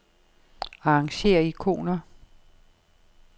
Arrangér ikoner.